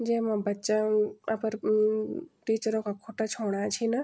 जैमा बच्चा अम अपर अम टीचरो का खुट्टा छूणा छिन।